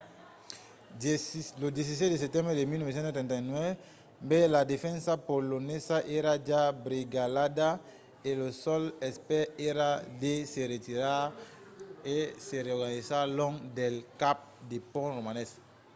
lo 17 de setembre de 1939 la defensa polonesa èra ja brigalhada e lo sol espèr èra de se retirar e se reorganizar long del cap de pont romanés